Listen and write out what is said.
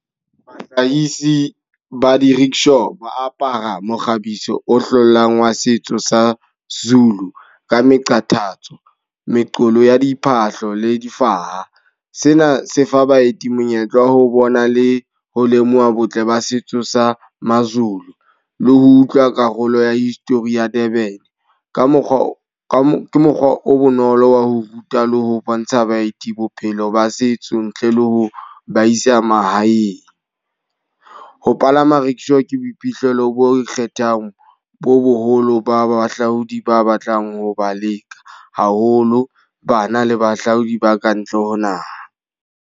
ba di-rickshaw ba apara mokgabiso o hlolang wa setso sa Zulu. Ka meqathatso, meqomo ya diphahlo le difaha. Sena se fa baeti monyetla wa ho bona le ho lemoha botle ba setso sa maZulu. Le ho utlwa karolo ya Hmhistory ya Durban. Ka mokgwa o ke mokgwa o bonolo wa ho ruta le ho bontsha baeti bophelo ba setso ntle le ho ba isa mahaeng. Ho palama rickshaw ke boiphihlelo bo ikgethang bo boholo ba bahlaodi ba batlang ho ba leka. Haholo bana le bahlaodi ba kantle ho naha.